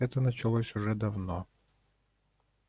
это началось уже давно